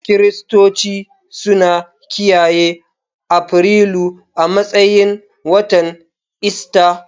Kiristoci suna kiyaye Afrilu a matsayin watan Ista.